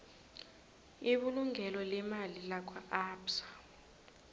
ibulungo leemali lakwaabsa